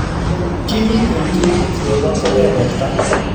Kimiiten tuyeet nepo kebeberta